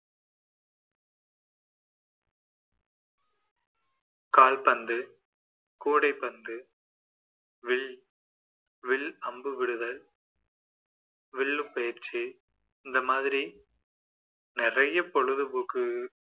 கால்பந்து, கூடைபந்து வில் வில் அம்புவிடுதல் வில்லுபேச்சு இந்த மாதிரி நிறைய பொழுது போக்கு